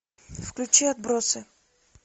включи отбросы